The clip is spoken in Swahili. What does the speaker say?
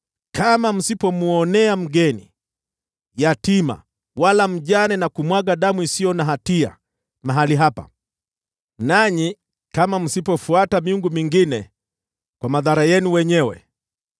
kama msipomwonea mgeni, yatima wala mjane, na kumwaga damu isiyo na hatia mahali hapa, nanyi kama msipofuata miungu mingine kwa madhara yenu wenyewe,